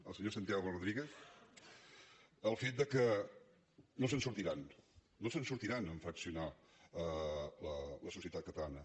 al senyor santiago rodríguez el fet que no se’n sortiran no se’n sortiran en fraccionar la societat catalana